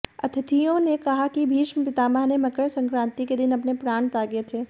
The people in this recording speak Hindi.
अतिथियों ने कहा कि भीष्म पितामह ने मकर संक्रांति के दिन अपने प्राण त्यागे थे